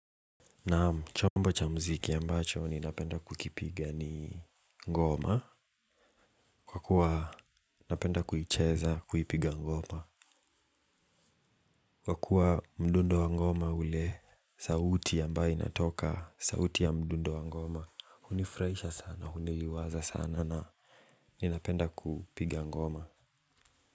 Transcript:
Naam, chombo cha muziki ambacho ninapenda kukipiga ni ngoma kwa kuwa napenda kuicheza kuipiga ngoma kwa kuwa mdundo wa ngoma ule. Sauti ambayo inatoka, sauti ya mdundo wa ngoma hunifurahisha sana, huniliwaza sana na ninapenda kupiga ngoma.